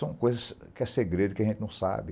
São coisas que é segredo, que a gente não sabe.